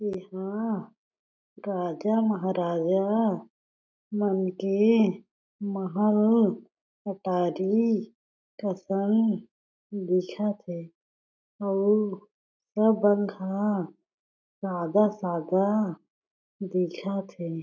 ऐ हा राजा महाराजा मन के महल हटारी कसन दिखत हे अउ सब बंद ह सादा-सादा दिखत हे।